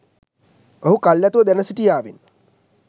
ඔහු කල් ඇතිව දැන සිටියාවෙන්.